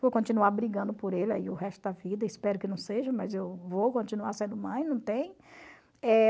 Vou continuar brigando por ele o resto da vida, espero que não seja, mas eu vou continuar sendo mãe, não tem. Eh...